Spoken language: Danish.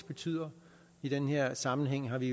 betyder i den her sammenhæng har vi